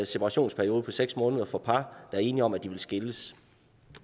separationsperiode på seks måneder for par der er enige om at de vil skilles